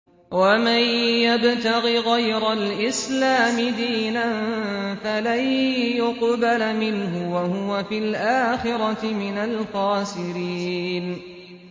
وَمَن يَبْتَغِ غَيْرَ الْإِسْلَامِ دِينًا فَلَن يُقْبَلَ مِنْهُ وَهُوَ فِي الْآخِرَةِ مِنَ الْخَاسِرِينَ